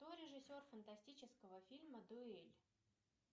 кто режиссер фантастического фильма дуэль